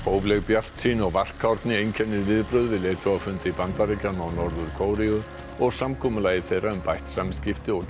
hófleg bjartsýni og varkárni einkennir viðbrögð við leiðtogafundi Bandaríkjanna og Norður Kóreu og samkomulagi þeirra um bætt samskipti og